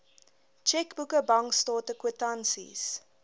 tjekboeke bankstate kwitansies